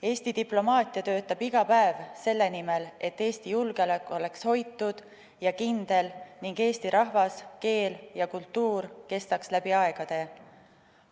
Eesti diplomaatia töötab iga päev selle nimel, et Eesti julgeolek oleks hoitud ja kindel ning eesti rahvas, keel ja kultuur kestaks läbi aegade.